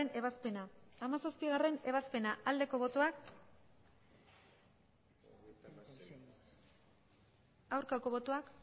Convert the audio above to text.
ebazpena hamazazpigarrena ebazpena aldeko botoak aurkako botoak